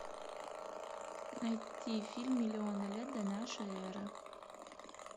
найти фильм миллионы лет до нашей эры